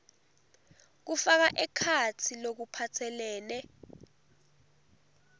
kufaka ekhatsi lokuphatselene